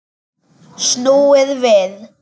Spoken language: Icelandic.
Snúið við!